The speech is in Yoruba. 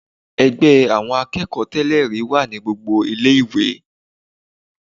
Ẹgbẹ́ àwọn akẹ́kọ̀ọ́ tẹ́lẹ̀-rí wà ní gbogbo ilé ìwé.